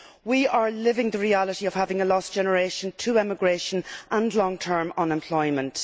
We are living the reality of having lost a generation to emigration and long term unemployment.